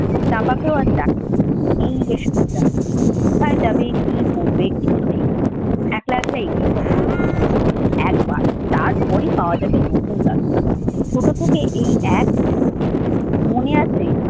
চাঁপাকেও আজ ডাকেনি। এই বেশ মজা। কোথায় যাবে, কি করবে কিছু ঠিক নেই। একলা একলাই এগিয়ে পড়ে। একবার তারপরই পাওয়া যাবে নতুন রাস্তা। ছোট থেকে এই এক নিশা তার। মনে আছে